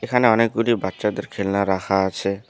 এখানে অনেকগুলি বাচ্চাদের খেলনা রাখা আছে।